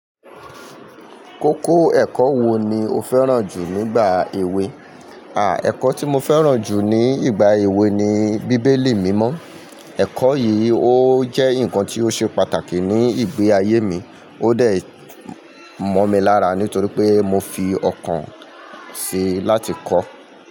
Kókó ẹ̀kọ́ wo ni o fẹ́ràn jù nígbà èwe? Àà, ẹ̀kọ́ tí mo fẹ́ràn jù ní ìgbà èwe ni bíbélì mímọ́. Ẹ̀kọ́ yìí ó jẹ́ nǹkan tí ó ṣe pàtàkì ni ìgbé ayé mi, ó dẹ̀ mọ́ mi lára nítorí pé mo fi ọkàn sí i láti kọ́ ọ.